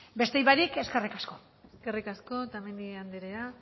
beste barik eskerrik asko eskerrik asko otamendi andrea